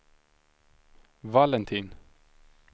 Valentin